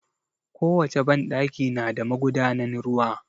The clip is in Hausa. Ko wace banɗaki na da magudanan ruwa